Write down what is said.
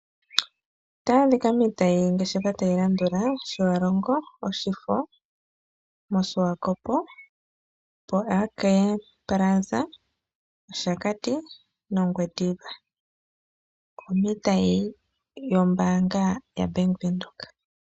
Ombanga yaVenduka ota yaadhika miitayi ngeshefa ta yi landula, Otjiwarongo, Oshifo, moSwakopmund AK Plaza, Oshakati, noNgwediva okuna iitayi yombanga yaBank Windhoek.